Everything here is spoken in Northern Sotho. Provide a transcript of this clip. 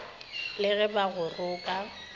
le ge ba go roka